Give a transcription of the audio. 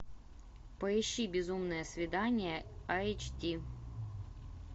поищи безумное свидание айч ди